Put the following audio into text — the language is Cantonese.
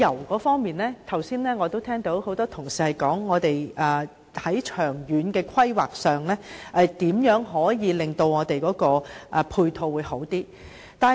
我剛才聽到很多同事提及在長遠的規劃上，如何可以令我們的配套做得更好。